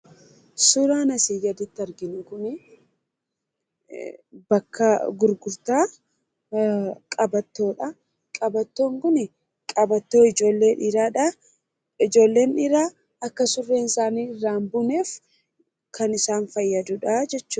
Suuraan asii gaditti arginu kun bakka gurgurtaa "qabattoo"dha. Qabattoon kun qabattoo ijoollee dhiiraadhaan, ijoollee dhiiraa akka surreen isaanii irraa hinbuuneef kan isaan fayyadudha jechuudha.